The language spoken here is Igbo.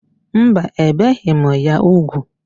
Mba, ebeghị ya úgwù.